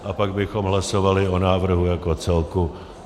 A pak bychom hlasovali o návrhu jako celku.